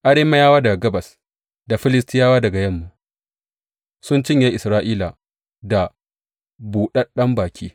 Arameyawa daga gabas da Filistiyawa daga yamma sun cinye Isra’ila da buɗaɗɗen baki.